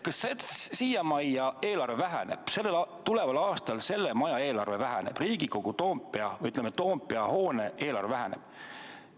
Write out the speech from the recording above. Kas tuleval aastal selle maja, Toompea hoone eelarve väheneb?